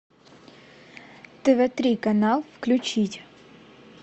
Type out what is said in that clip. тв три канал включить